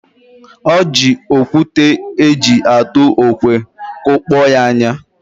Ọ ji okwute eji atụ okwe kụkpọ ya anya.